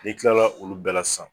Ni kila olu bɛɛ la sisan.